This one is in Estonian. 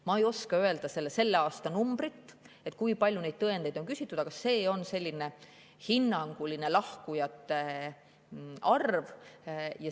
Ma ei oska öelda selle aasta numbrit, kui palju neid on küsitud, aga see sellist hinnangulist lahkujate arvu.